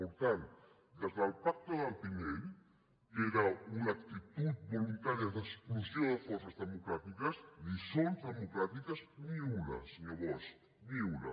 per tant des del pacte del tinell que era una actitud voluntària d’exclusió de forces democràtiques lliçons democràtiques ni una senyor bosch ni una